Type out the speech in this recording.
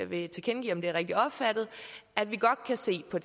vil tilkendegive om det er rigtigt opfattet at vi godt kan se på